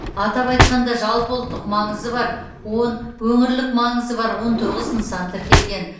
атап айтқанда жалпыұлттық маңызы бар он өңірлік маңызы бар он тоғыз нысан тіркелген